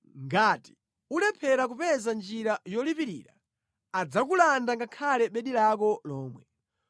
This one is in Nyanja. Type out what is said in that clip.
ngati ulephera kupeza njira yolipirira adzakulanda ngakhale bedi lako lomwe.